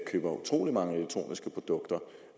køber utrolig mange elektroniske produkter